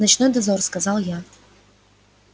ночной дозор сказал я